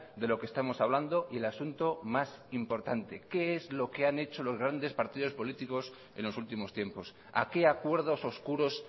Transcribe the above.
de lo que estamos hablando y el asunto más importante qué es lo que han hecho los grandes partidos políticos en los últimos tiempos a qué acuerdos oscuros